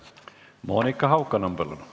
Monika Haukanõmm, palun!